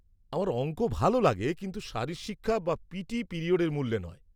-আমার অংক ভালো লাগে, কিন্তু শারীরশিক্ষা বা পিটি পিরিয়ডের মূল্যে নয়।